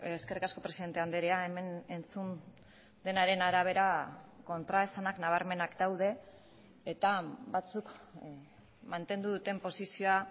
eskerrik asko presidente andrea hemen entzun denaren arabera kontraesanak nabarmenak daude eta batzuk mantendu duten posizioa